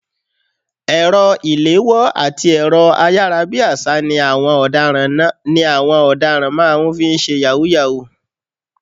Ẹ̀rọ ìléwọ́ àti ẹ̀rọ ayárabíàṣá ni àwọn ọ̀daràn máa ń fi ń ṣe yahoo yahoo.